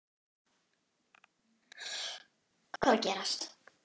Bara rugl.